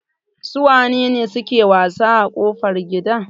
Su waye suke wasa a kofar gida?